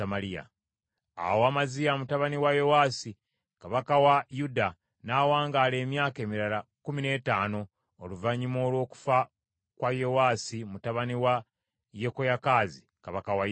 Awo Amaziya mutabani wa Yowaasi kabaka wa Yuda n’awangaala emyaka emirala kkumi n’ettaano, oluvannyuma olw’okufa kwa Yowaasi mutabani wa Yekoyakaazi, kabaka wa Isirayiri.